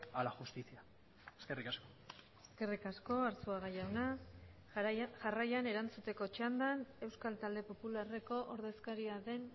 a la justicia eskerrik asko eskerrik asko arzuaga jauna jarraian erantzuteko txandan euskal talde popularreko ordezkaria den